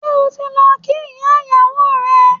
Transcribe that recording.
Ṣé o ti lọ kí ìyá ìyàwó rẹ?